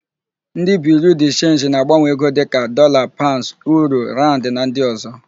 Ndị Biriu de Chenji na-agbanwe ego ndị dịka: Dọlaa, Paụnds, Uuro, Rand na ndị ọ̀zọ́.